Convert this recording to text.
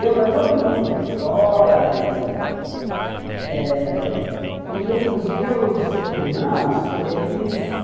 Deu para todo mundo ir para escola e eh... E os meus irmãos, eles...